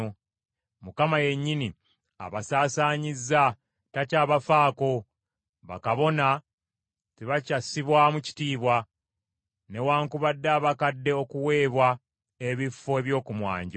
Mukama yennyini abasaasaanyizza, takyabafaako. Bakabona tebakyassibwamu kitiibwa, newaakubadde abakadde okuweebwa ebifo eby’oku mwanjo.